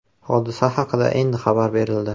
Hodisa haqida endi xabar berildi.